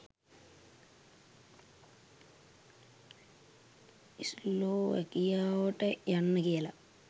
ස්ලෝවැකියාවට යන්න කියලා